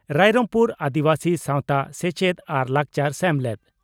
ᱨᱟᱭᱨᱚᱝᱯᱩᱨ ᱟᱹᱫᱤᱵᱟᱹᱥᱤ ᱥᱟᱣᱛᱟ ᱥᱮᱪᱮᱫ ᱟᱨ ᱞᱟᱠᱪᱟᱨ ᱥᱮᱢᱞᱮᱫ